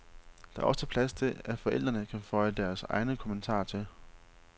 Der er også plads til, at forældrene kan føje deres egne kommentarer til.